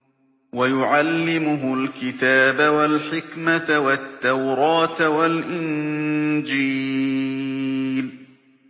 وَيُعَلِّمُهُ الْكِتَابَ وَالْحِكْمَةَ وَالتَّوْرَاةَ وَالْإِنجِيلَ